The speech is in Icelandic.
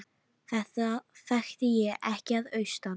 Þetta þekkti ég ekki að austan.